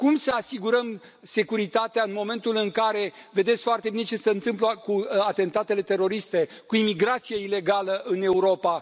Cum să asigurăm securitatea, în momentul în care vedeți foarte bine ce se întâmplă cu atentatele teroriste, cu imigrația ilegală în Europa?